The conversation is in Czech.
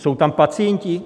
Jsou tam pacienti?